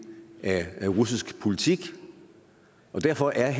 af russisk politik derfor er